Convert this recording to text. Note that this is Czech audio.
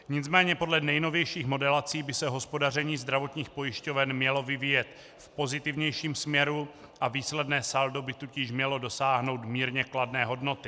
Nicméně podle nejnovějších modelací by se hospodaření zdravotních pojišťoven mělo vyvíjet v pozitivnějším směru a výsledné saldo by tudíž mělo dosáhnout mírně kladné hodnoty.